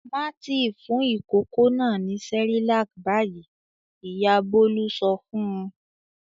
"Má tì fún ìkókó náà ní Cerelac báyìí!" Ìyá Bólú sọ fún un.